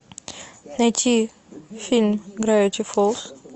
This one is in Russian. найти фильм гравити фолз